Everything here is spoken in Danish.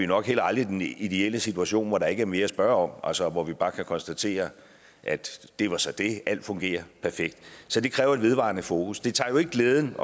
nok heller aldrig den ideelle situation hvor der ikke er mere at spørge om altså hvor vi bare kan konstatere det var så det alt fungerer perfekt så det kræver et vedvarende fokus det tager jo ikke glæden